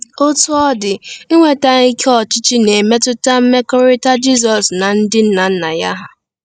Otú ọ dị, inweta ike ọchịchị na-emetụta mmekọrịta Jizọs na ndị nna nna ya hà.